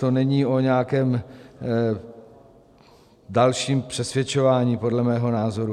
To není o nějakém dalším přesvědčování podle mého názoru.